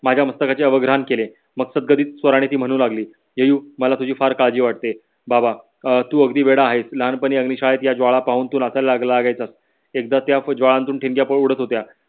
माझ्या मास्तकाचे अवग्रण केले. मस्तक गरधित सवरणे ती म्हणू लागली. येयू मला तुझी फार काळजी वाटते. बाबा तू अं अघडी वेडा आहेस तू लहानपणी अग्निशाळेत याजवडा पाहून नाचू लागायचं एकदा त्या ठिणग्या पडत होत्या